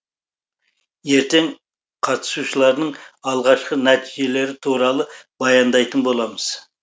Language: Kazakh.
ертең қатысушылардың алғашқы нәтижелері туралы баяндайтын боламыз